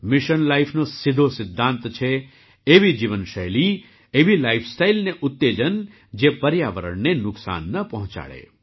mission લાઇફનો સીધો સિદ્ધાંત છે એવી જીવનશૈલી એવી લાઇફસ્ટાઇલને ઉત્તેજન જે પર્યાવરણને નુકસાન ન પહોંચાડે